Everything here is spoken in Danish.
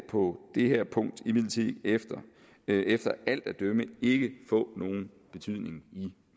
på det her punkt imidlertid efter efter alt at dømme ikke få nogen betydning i